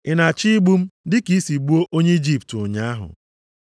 Ị na-achọ igbu m dị ka i si gbuo onye Ijipt ụnyaahụ?’ + 7:28 \+xt Ọpụ 2:14\+xt*